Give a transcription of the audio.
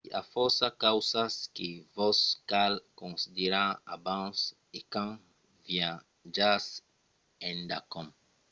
i a fòrça causas que vos cal considerar abans e quand viatjatz endacòm